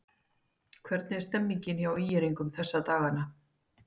Hvernig er stemningin hjá ÍR-ingum þessa dagana?